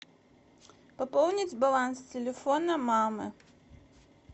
пополнить баланс телефона мамы